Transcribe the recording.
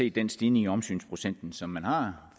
set den stigning i omsynsprocenten som man har